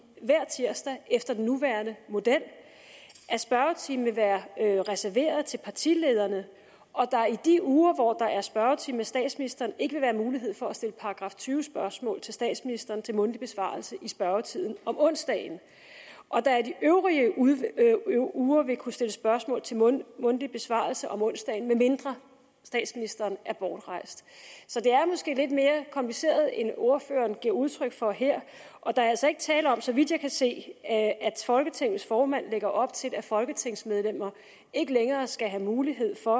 hver tirsdag efter den nuværende model at spørgetimen vil være reserveret til partilederne at der i de uger hvor der er spørgetime med statsministeren ikke vil være mulighed for at stille § tyve spørgsmål til statsministeren til mundtlig besvarelse i spørgetiden om onsdagen og at der i de øvrige uger uger vil kunne stilles spørgsmål til mundtlig mundtlig besvarelse om onsdagen medmindre statsministeren er bortrejst så det er måske lidt mere kompliceret end ordføreren giver udtryk for her der er altså ikke tale om så vidt jeg kan se at folketingets formand lægger op til at folketingsmedlemmer ikke længere skal have mulighed for